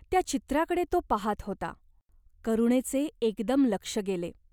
त्या चित्राकडे तो पाहात होता. करुणेचे एकदम लक्ष गेले.